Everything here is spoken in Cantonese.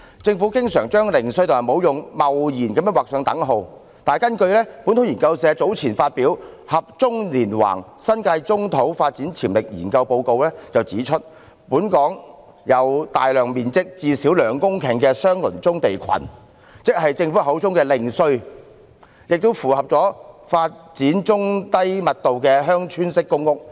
政府經常貿然把"零碎"與"沒用"劃上等號，但本土研究社早前發表的《合棕連橫：新界棕土發展潛力研究》報告卻指出，本港有大量面積最少為兩公頃——即政府口中的"零碎"——的相鄰棕地群，適合發展中低密度的鄉村式公屋。